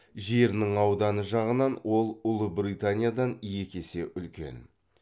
жерінің ауданы жағынан ол ұлыбританиядан екі есе үлкен